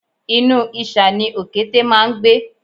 Inú ìṣà ni òkété máá ń gbé